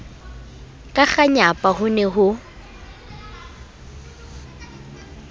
ka kganyapa ho ne ho